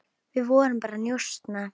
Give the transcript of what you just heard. Við vorum bara að njósna,